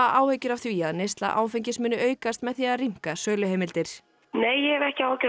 áhyggjur af því að neysla áfengis muni aukast með því að rýmka söluheimildir nei ég hef ekki áhyggjur